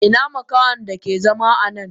Ina makahonnan dake zama anan?